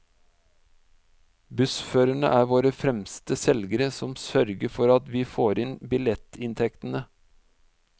Bussførerne er våre fremste selgere som sørger for at vi får inn billettinntektene.